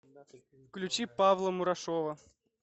включи павла мурашова